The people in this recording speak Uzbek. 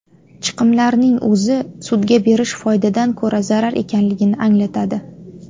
chiqimlarning o‘zi sudga berish foydadan ko‘ra zarar ekanligini anglatadi.